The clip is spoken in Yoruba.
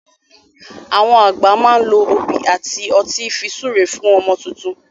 Àwọn àgbà má n lo òbí àti ọtí fi súre fún ọmọ tuntun